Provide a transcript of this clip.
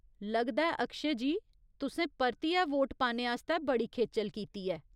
लगदा ऐ अक्षय जी तुसें परतियै वोट पाने आस्तै बड़ी खेचल कीती ऐ।